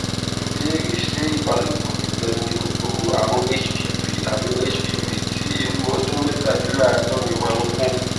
ìbéèrè ṣé ìbálòpò nìkan ni kòkòrò àrùn hpv àrùn hpv ti irú ọdún métàléláàádórin máa ń kó